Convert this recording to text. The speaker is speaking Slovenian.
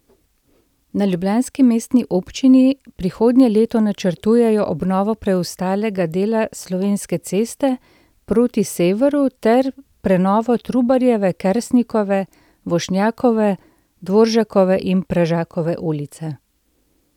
Na ljubljanski mestni občini prihodnje leto načrtujejo obnovo preostalega dela Slovenske ceste proti severu ter prenovo Trubarjeve, Kersnikove, Vošnjakove, Dvoržakove in Pražakove ulice.